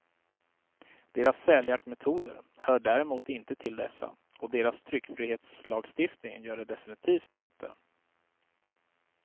Deras säljaktmetoder hör däremot inte till dessa, och deras tryckfrihetslagstiftning gör det definitivt inte.